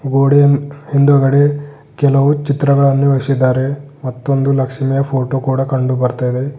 ಗೋಡೆಯ ಹಿಂದುಗಡೆ ಕೆಲವು ಚಿತ್ರಗಳನ್ನು ಇರಿಸಿದ್ದಾರೆ ಮತ್ತೊಂದು ಲಕ್ಷ್ಮಿಯ ಫೋಟೋ ಕೂಡ ಕಂಡುಬರುತಾ ಇದೆ.